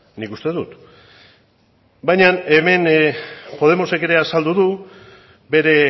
nik uste dut baina hemen podemosek ere azaldu du bere